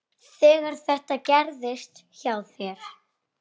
Þegar þetta gerðist hjá þér.